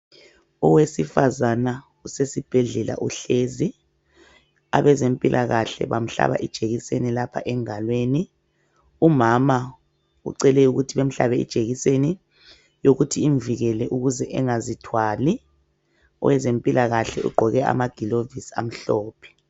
Owesifazana usesibhedlela uhlezi abezempilakahle bamhlaba ijekiseni lapha engalweni. Umama ucele ukuthi bemhlabe ijekiseni yokuthi imvikele engazithwali, oweze mpilakahle ugqoke amagilovisi amhlophe.